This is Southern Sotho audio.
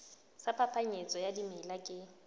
sa phapanyetso ya dimela ke